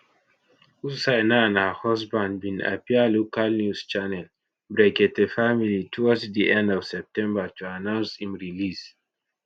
hussaina and her husband bin appear local news channel brekete family towards di end of september to announce im release